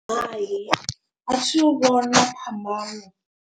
Hai athi u vhona phambano.